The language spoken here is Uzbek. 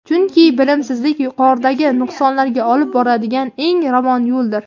Chunki bilimsizlik yuqoridagi nuqsonlarga olib boradigan eng ravon yo‘ldir!.